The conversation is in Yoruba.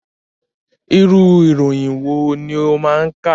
Irú ìròyìn wòó ni ọ máa ń kà